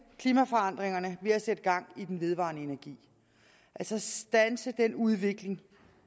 klimaforandringerne ved at sætte gang i den vedvarende energi altså standse den udvikling